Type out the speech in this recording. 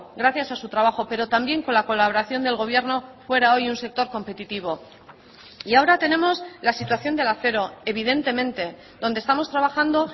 gracias a su trabajo pero también con la colaboración del gobierno fuera hoy un sector competitivo y ahora tenemos la situación del acero evidentemente donde estamos trabajando